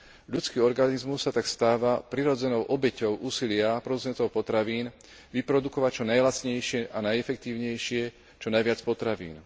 Ľudský organizmus sa tak stáva prirodzenou obeťou úsilia producentov potravín vyprodukovať čo najlacnejšie a najefektívnejšie čo najviac potravín.